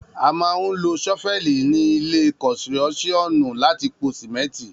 A mà hún ló Sọfẹli ni ìlẹ́ kọsíròsìọnú làtí pó símẹtí